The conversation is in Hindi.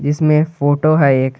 इसमें फोटो है एक।